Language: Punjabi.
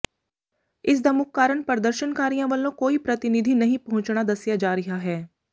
ਇਸ ਦਾ ਮੁੱਖ ਕਾਰਨ ਪ੍ਰਦਰਸ਼ਨਕਾਰੀਆਂ ਵੱਲੋਂ ਕੋਈ ਪ੍ਰਤੀਨਿਧੀ ਨਹੀਂ ਪਹੁੰਚਣਾ ਦੱਸਿਆ ਜਾ ਰਿਹਾ ਹੈ